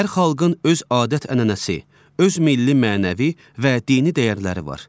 Hər xalqın öz adət-ənənəsi, öz milli mənəvi və dini dəyərləri var.